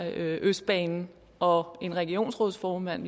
østbanen og en regionsrådsformand